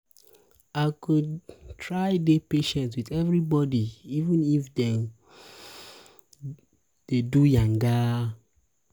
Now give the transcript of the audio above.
i go try dey patient wit everybodi even if dem dey do yanga.